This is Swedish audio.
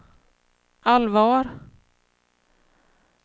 allvar